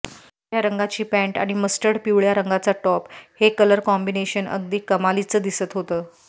पांढऱ्या रंगाची पँट आणि मस्टर्ड पिवळ्या रंगाचा टॉप हे कलर कॉम्बिनेशन अगदी कमालीचं दिसत होतं